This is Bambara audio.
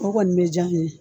O kɔni bɛ diya ne ye.